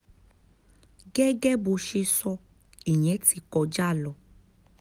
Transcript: gẹ́gẹ́ bó ṣe sọ ìyẹn ti kọjá lọ